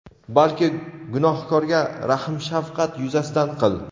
balki gunohkorga rahm-shafqat yuzasidan qil.